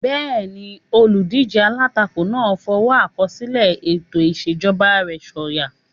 Bẹ́ẹ̀ni, olùdíjé alátakò náà n fọwọ́ àkọsílẹ̀ ètò ìṣèjọba rẹ̀ sọ̀yà